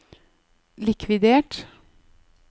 likvidert